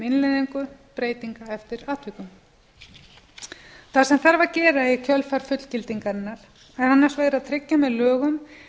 innleiðingu breytinga eftir atvikum það sem þarf að gera í kjölfar fullgildingarinnar er annars vegar að tryggja með lögum